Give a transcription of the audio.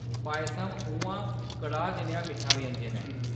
पायसम उʼआं कड़ाह्‌‌ जनेहा मिट्ठा व्यंजन ऐ।